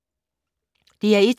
DR1